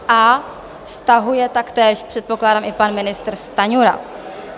A stahuje taktéž, předpokládám, i pan ministr Stanjura.